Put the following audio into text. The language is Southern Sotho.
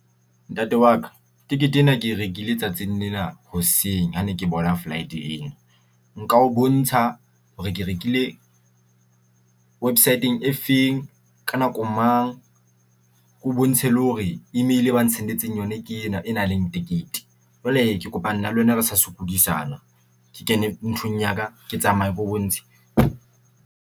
Ntate wa ka tikete ena ke rekile tsatsing lena hoseng ha ne ke bona flight ena. Nka o bontsha hore ke rekile website-eng efeng. Ka nako mang, ke o bontshe le hore email ena ba n-sendetseng yona ke ena e nang le tekete. Jwale ke kopa na le wena re sa sokodisana ke kene nthong ya ka, ke tsamaye ke o bontshe.